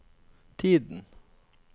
tiden